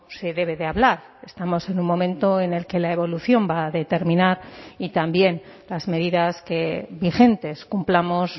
se debe de hablar estamos en un momento en el que la evolución va a determinar y también las medidas que vigentes cumplamos